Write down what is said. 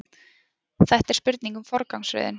Þetta er spurning um forgangsröðun